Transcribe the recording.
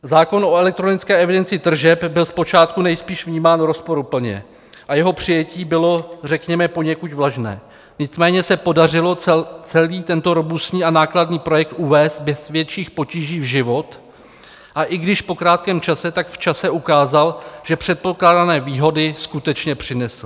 Zákon o elektronické evidenci tržeb byl zpočátku nejspíš vnímán rozporuplně a jeho přijetí bylo řekněme poněkud vlažné, nicméně se podařilo celý tento robustní a nákladný projekt uvést bez větších potíží v život, a i když po krátkém čase, tak v čase ukázal, že předpokládané výhody skutečně přinesl.